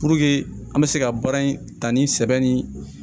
an bɛ se ka baara in ta ni sɛbɛn ni